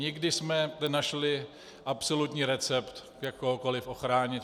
Nikdy jsme nenašli absolutní recept, jak kohokoliv ochránit.